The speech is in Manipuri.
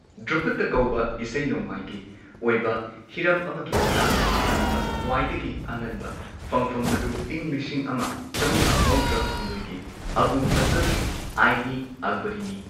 ꯙ꯭ꯔꯨꯄꯗ ꯀꯧꯕ ꯏꯁꯩ ꯅꯣꯡꯃꯥꯏꯒꯤ ꯑꯣꯏꯕ ꯍꯤꯔꯝ ꯑꯃꯒꯤ ꯃꯇꯥꯡꯗ ꯄꯟꯕ ꯈ꯭ꯋꯥꯏꯗꯒꯤ ꯑꯉꯟꯕ ꯐꯪꯐꯝ ꯑꯗꯨ ꯏꯪ ꯂꯤꯁꯤꯡ ꯑꯃ ꯆꯝꯉꯥ ꯃꯧꯗ꯭ꯔꯥ ꯍꯨꯝꯗꯣꯏꯒꯤ ꯑꯕꯨ ꯐꯖꯜꯒꯤ ꯑꯥꯏꯟ ꯏ ꯑꯛꯕꯔꯤꯅꯤ꯫